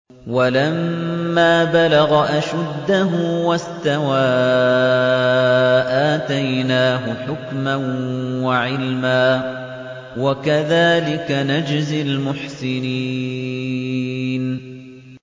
وَلَمَّا بَلَغَ أَشُدَّهُ وَاسْتَوَىٰ آتَيْنَاهُ حُكْمًا وَعِلْمًا ۚ وَكَذَٰلِكَ نَجْزِي الْمُحْسِنِينَ